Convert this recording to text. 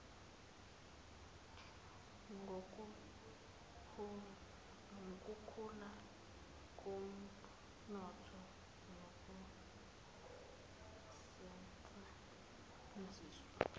kokukhula komnotho nokusetshenziswa